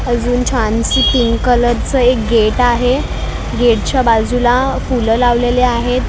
अजून छानसी पिंक कलरचं एक गेट आहे गेट च्या बाजूला फुलं लावलेले आहेत.